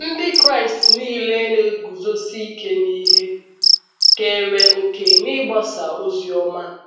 Ndị Kraịst nile na - eguzosi ike n’ihe keere òkè n’ịgbasa ozi ọma.